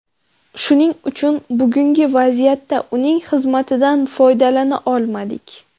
Shuning uchun bugungi vaziyatda uning xizmatidan foydalana olmadik.